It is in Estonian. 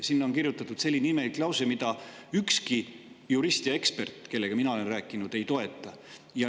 Sinna on kirjutatud selline imelik lause, mida ükski jurist ja ekspert, kellega mina olen rääkinud, ei toeta.